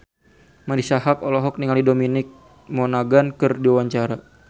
Marisa Haque olohok ningali Dominic Monaghan keur diwawancara